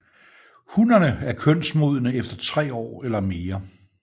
Hunnerne er kønsmodne efter tre år eller mere